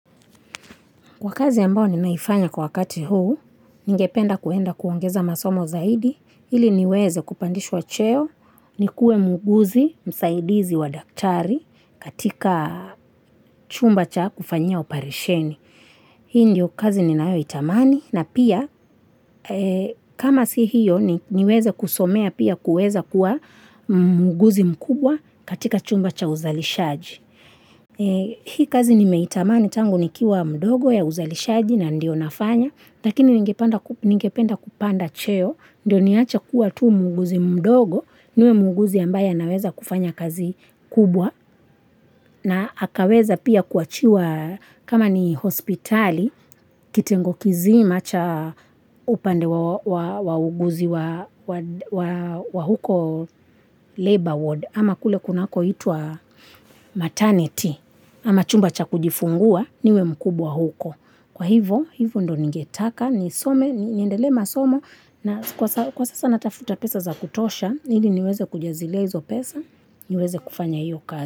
Kwa kazi ambayo ninaifanya kwa wakati huu, ningependa kuenda kuongeza masomo zaidi, ili niweze kupandishwa cheo, nikuwe muuguzi msaidizi wa daktari katika chumba cha kufanya oparesheni. Hii ndio kazi ninaitamani na pia kama si hiyo niweza kusomea pia kuweza kuwa muguzi mkubwa katika chumba cha uzalishaji. Hii kazi nime itamani tango nikiwa mdogo ya uzalishaji na ndio nafanya. Lakini ningependa kupanda cheo ndio niacha kuwa tu muuguzi mdogo. Ndio muuguzi ambaye naweza kufanya kazi kubwa. Na akaweza pia kuachiwa kama ni hospitali, kitengo kizima cha upande wa uguzi wa huko labor ward. Ama kule kunako itwa maternity, ama chumba cha kujifungua, niwe mkubwa huko. Kwa hivo, hivo ndo ningetaka, ni some, niendele na somo, na kwa sasa natafuta pesa za kutosha, ili niweze kujazilia hizo pesa, niweze kufanya hiyo kazi.